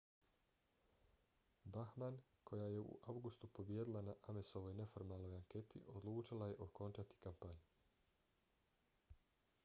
bachmann koja je u avgustu pobijedila na amesovoj neformalnoj anketi odlučila je okončati kampanju